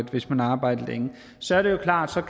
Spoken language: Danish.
hvis man har arbejdet længe så er det jo klart